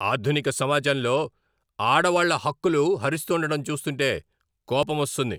ఆధునిక సమాజంలో ఆడవాళ్ళ హక్కులు హరిస్తుండడం చూస్తుంటే కోపమొస్తుంది.